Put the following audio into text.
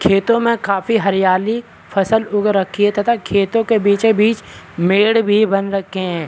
खेतों में काफी हरियाली फसल उग रखी है तथा खेतों के बीचो बीच मेढ़ भी बन रखे हैं।